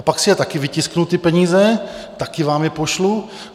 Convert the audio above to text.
A pak si je taky vytisknu, ty peníze, taky vám je pošlu.